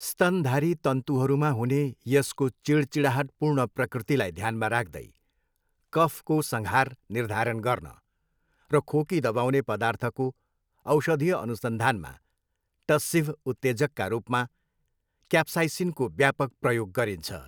स्तनधारी तन्तुहरूमा हुने यसको चिढचिढाहटपूर्ण प्रकृतिलाई ध्यानमा राख्दै, कफको सँघार निर्धारण गर्न र खोकी दबाउने पदार्थको औषधीय अनुसन्धानमा टस्सिभ उत्तेजकका रूपमा क्याप्साइसिनको व्यापक प्रयोग गरिन्छ।